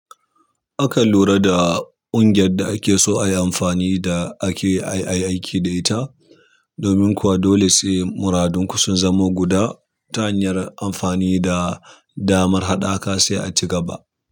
Akan lura da ƙungiyar da ake so ayi amfani da ake ayi aiki da ita, domin kuwa dole sai muradunku sun zama guda. Ta hanyar amfani da damar haɗaka sai a ci gaba.